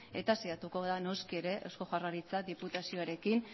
eta saiatuko gara noski ere eusko jaurlaritza diputazioarekin